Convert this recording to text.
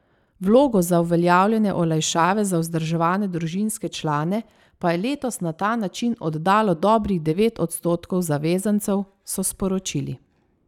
Vlogo za uveljavljanje olajšave za vzdrževane družinske člane pa je letos na ta način oddalo dobrih devet odstotkov zavezancev, so sporočili.